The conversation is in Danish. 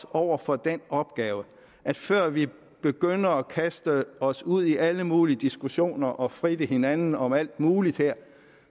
over for den opgave at før vi begynder at kaste os ud i alle mulige diskussioner og fritte hinanden om alt muligt her